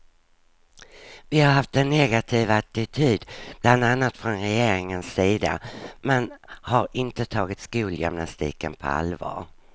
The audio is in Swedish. Vi har haft en negativ attityd bland annat från regeringens sida, man har inte tagit skolgymnastiken på allvar.